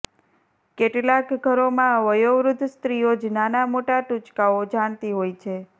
કેટલાંક ઘરોમાં વયોવૃદ્ધ સ્ત્રીઓ જ નાનામોટાં ટૂચકાઓ જાણતી હોય છે